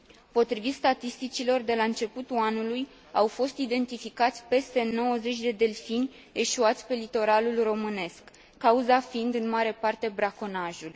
Potrivit statisticilor, de la începutul anului, au fost identificați peste 90 de delfini eșuați pe litoralul românesc, cauza fiind, în mare parte, braconajul.